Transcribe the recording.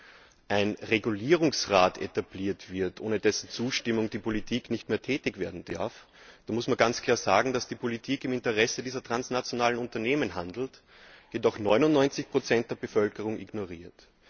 Wenn ein Regulierungsrat etabliert wird, ohne dessen Zustimmung die Politik nicht mehr tätig werden darf, dann muss ganz klar sagen, dass die Politik im Interesse dieser transnationalen Unternehmen handelt, jedoch 99 der Bevölkerung ignoriert.